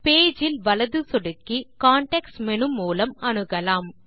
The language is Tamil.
பேஜ் இல் வலது சொடுக்கி கான்டெக்ஸ்ட் மேனு மூலம் அணுகலாம்